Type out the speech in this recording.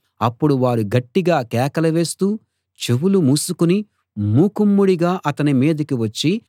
అప్పుడు వారు గట్టిగా కేకలు వేస్తూ చెవులు మూసుకుని మూకుమ్మడిగా అతని మీదికి వచ్చి